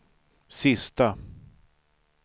sista